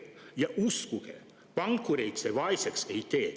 Ja uskuge, pankureid see vaeseks ei tee.